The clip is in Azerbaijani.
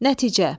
Nəticə.